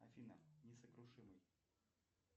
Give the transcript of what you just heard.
афина несокрушимый